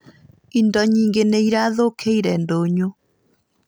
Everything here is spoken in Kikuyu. Indo nyingĩ nĩ irathũkiĩre ndũnyũ